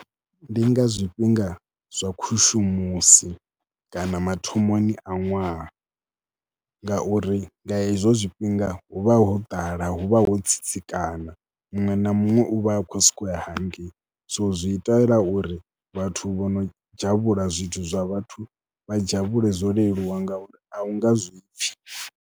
Ndi nga zwifhinga zwa khushumusi kana mathomoni a ṅwaha ngauri nga hezwo zwifhinga hu vha ho ḓala, hu vha ho tsitsikana, muṅwe na muṅwe u vha a khou sokou ya hangei. So zwi itela uri vhathu vho no dzhavhula zwithu zwa vhathu vha dzhavhaule zwo leluwa ngauri a u nga zwi pfhi.